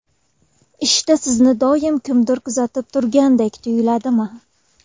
Ishda sizni doim kimdir kuzatib turgandek tuyuladimi?